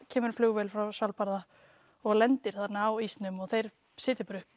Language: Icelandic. kemur flugvél frá Svalbarða og lendir þarna á ísnum og þeir setja upp